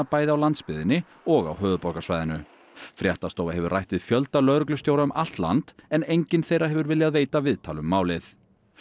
bæði á landsbyggðinni og á höfuðborgarsvæðinu fréttastofa hefur rætt við fjölda lögreglustjóra um allt land en enginn þeirra hefur viljað veita viðtal um málið